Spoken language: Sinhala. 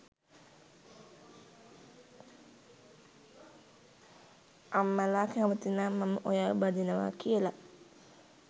අම්මලා කැමතිනම් මම ඔයා බඳිනවා කියලා